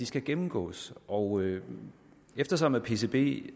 skal gennemgås og eftersom pcb